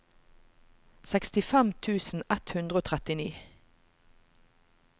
sekstifem tusen ett hundre og trettini